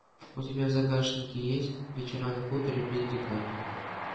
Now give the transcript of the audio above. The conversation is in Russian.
у тебя в загашнике есть вечера на хуторе близ диканьки